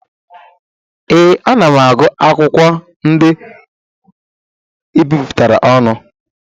Ee, ana m agụ akwụkwọ ndị ebipụtara ọnụ.